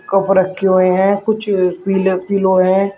Cup रखें हुए हैं। कुछ पीले पिलो हैं।